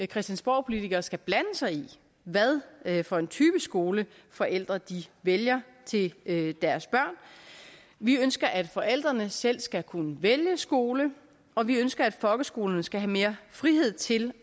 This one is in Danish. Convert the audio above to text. christiansborgpolitikere skal blande sig i hvad hvad for en type skole forældre vælger til deres børn vi ønsker at forældrene selv skal kunne vælge skole og vi ønsker at folkeskolerne skal have mere frihed til